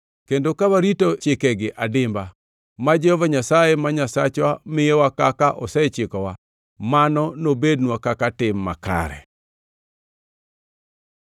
Kendo ka warito chikegi adimba ma Jehova Nyasaye ma Nyasachwa miyowa kaka osechikowa, mano nobednwa kaka tim makare.”